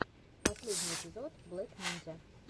последний эпизод блек нинзя